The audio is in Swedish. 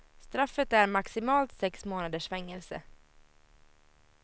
Straffet är maximalt sex månaders fängelse.